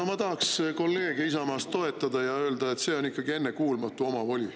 No ma tahaks kolleege Isamaast toetada ja öelda, et see on ikkagi ennekuulmatu omavoli.